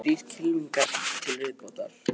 Þrír kylfingar til viðbótar